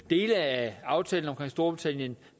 dele af aftalen om storbritannien